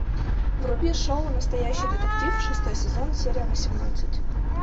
вруби шоу настоящий детектив шестой сезон серия восемнадцать